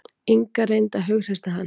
Inga reyndi að hughreysta hann.